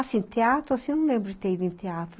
Assim, teatro, assim, eu não lembro de ter ido em teatro.